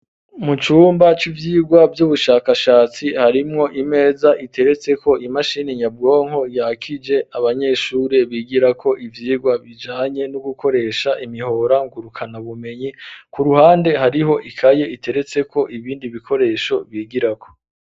Mu cumba c'ivyirwa vy'ubushakashatsi harimwo imeza iteretse ko imashini nyabwonko yakije abanyeshuri bigirako ivyirwa bijanye no gukoresha imihora ngurukana bumenyi ku ruhande hariho ikaye iteretseko ibindi bikoresho bigirako